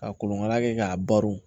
Ka kolonkala kɛ k'a baro